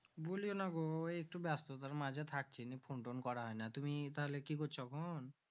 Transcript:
বুলিওনা গো একটু ব্যাস্ততার মাঝে থাকছি নি phone টুন্ করা হয়না তুমি তাহলে কি করছো এখন